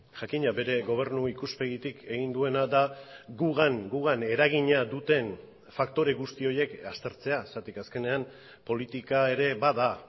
jakina bere gobernu ikuspegitik egin duena da gugan gugan eragina duten faktore guzti horiek aztertzea zergatik azkenean politika ere bada